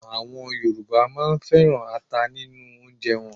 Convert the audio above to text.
Àwọn Yorùbá á máa féràn ata nínú oúnjẹ wọn.